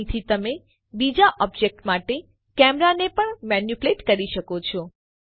અહીંથી તમે બીજા ઓબ્જેક્ટ પ્રમાણે કેમેરાને પણ મેનીપ્યુલેટ કરી શકો છો